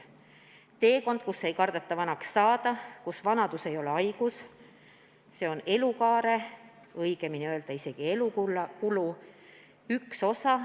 " See on teekond, kus ei kardeta vanaks saada, kus vanadus ei ole haigus, see on elukaare või õigem oleks öelda, isegi elukulu üks osa.